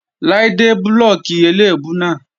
Láídé blóòkì eléèbú náà.